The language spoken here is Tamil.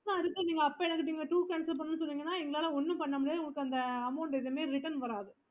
அடுத்து அப்போ நீங்க toor cancel பண்ணனும் சொன்னீங்கன்ன அப்போ எங்களால ஒன்னும் பண்ண முடியாது எந்த amount return வராது